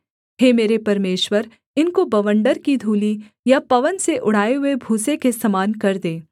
हे मेरे परमेश्वर इनको बवंडर की धूलि या पवन से उड़ाए हुए भूसे के समान कर दे